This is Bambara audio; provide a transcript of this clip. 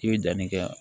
I bɛ danni kɛ